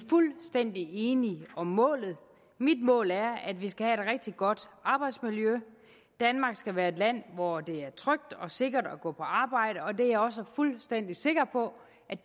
fuldstændig enige om målet mit mål er at vi skal rigtig godt arbejdsmiljø danmark skal være et land hvor det er trygt og sikkert at gå på arbejde og det er jeg også fuldstændig sikker på